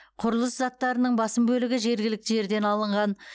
құрылыс заттарының басым бөлігі жергілікті жерден алынған